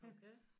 Okay